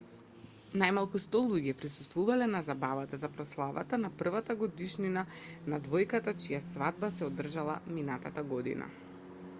најмалку 100 луѓе присуствувале на забавата за прославата на првата годишнина на двојката чија свадба се одржала минатата година